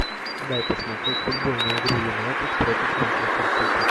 дай посмотреть футбольную игру юнайтед против манчестер сити